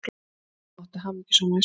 Mamma átti hamingjusama æsku.